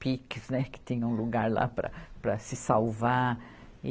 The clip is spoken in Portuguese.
piques, né, que tinha um lugar lá para, para se salvar. e